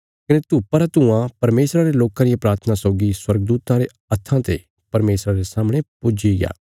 कने धूपा रा धुआँ परमेशरा रे लोकां रिया प्राथना सौगी स्वर्गदूतां रे हत्थां ते परमेशरा रे सामणे पुज्जीग्या